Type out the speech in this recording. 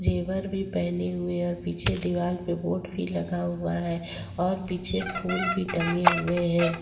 जेवर भी पहनी हुई और पीछे दीवाल पे बोर्ड भी लगा हुआ है और पीछे फूल भी टंगे हुए हैं।